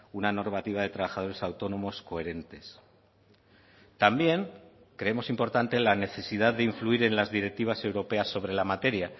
una normativa de trabajadores autónomos coherentes también creemos importante la necesidad de influir en las directivas europeas sobre la materia